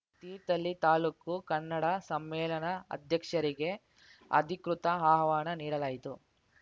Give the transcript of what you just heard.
ತೀರ್ಥಹಳ್ಳಿ ತಾಲೂಕು ಕನ್ನಡ ಸಮ್ಮೇಳನ ಅಧ್ಯಕ್ಷರಿಗೆ ಅಧಿಕೃತ ಆಹ್ವಾನ ನೀಡಲಾಯಿತು